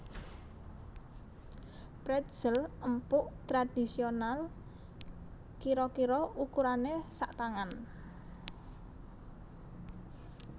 Pretzel empuk tradhisional kira kira ukurané satangan